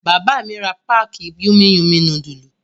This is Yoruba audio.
Bàbá mi ra páákì Yummy Yummy núdúlù.